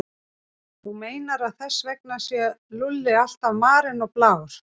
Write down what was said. Þú meinar að þess vegna sé Lúlli alltaf marinn og blár?